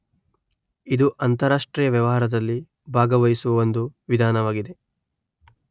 ಇದು ಅಂತರಾಷ್ಟ್ರೀಯ ವ್ಯವಹಾರದಲ್ಲಿ ಭಾಗವಹಿಸುವ ಒಂದು ವಿಧಾನವಾಗಿದೆ.